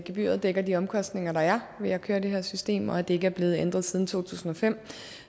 gebyret dækker de omkostninger der er ved at køre det her system og det er ikke blevet ændret siden to tusind og fem